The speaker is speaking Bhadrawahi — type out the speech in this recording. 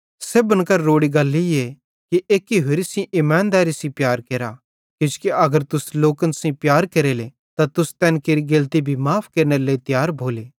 सेब्भन करां रोड़ी गल ईए कि एक्की होरि सेइं ईमादैरी सेइं प्यार केरा किजोकि अगर तुस लोकन सेइं प्यार केरेले त तुस तैन केरि गेलती भी माफ़ केरनेरे लेइ तियार भोले